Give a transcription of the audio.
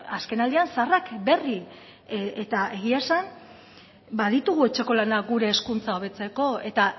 azken aldian zaharrak berri eta egia esan baditugu etxeko lanak gure hezkuntza hobetzeko eta